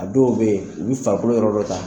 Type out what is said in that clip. A dɔw bɛ yen u bi farikolo yɔrɔ dɔ ta